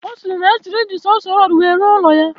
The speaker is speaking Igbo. Osiri na ya choro iji sonso rodu we ruo ulo ya.